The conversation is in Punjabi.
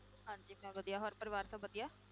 ਹਾਂਜੀ ਮੈਂ ਵਧੀਆ, ਹੋਰ ਪਰਿਵਾਰ ਸਭ ਵਧੀਆ?